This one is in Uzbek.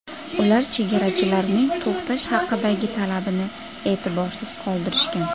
Ular chegarachilarning to‘xtash haqidagi talabini e’tiborsiz qoldirishgan.